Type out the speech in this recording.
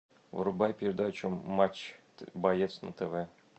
врубай передачу матч боец на тв